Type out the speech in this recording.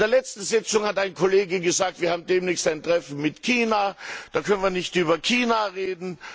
In der letzten Sitzung hat ein Kollege gesagt, wir haben demnächst ein Treffen mit China, da können wir nicht über China reden.